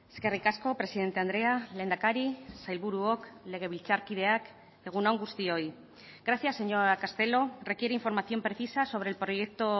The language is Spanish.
eskerrik asko presidente andrea lehendakari sailburuok legebiltzarkideak egun on guztioi gracia señora castelo requiere información precisa sobre el proyecto